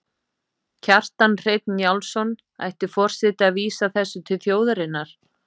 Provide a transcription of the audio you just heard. Kjartan Hreinn Njálsson: Ætti forseti að vísa þessu til þjóðarinnar?